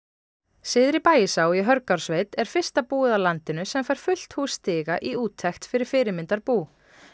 syðri Bægisá í Hörgársveit er fyrsta búið á landinu sem fær fullt hús stiga í úttekt fyrir fyrirmyndarbú